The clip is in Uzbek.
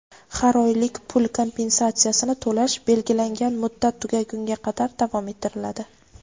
har oylik pul kompensatsiyasini to‘lash belgilangan muddat tugagunga qadar davom ettiriladi.